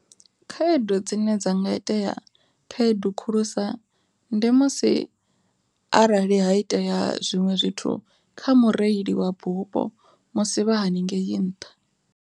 Khaedu dzine dza nga itea khaedu khulusa ndi musi arali ha itea zwiṅwe zwithu kha mureili wa bupo musi vha haningei nṱha.